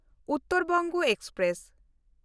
Uttar Banga express